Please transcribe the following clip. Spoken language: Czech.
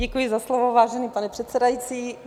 Děkuji za slovo, vážený pane předsedající.